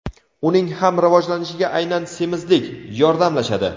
uning ham rivojlanishiga aynan semizlik "yordamlashadi".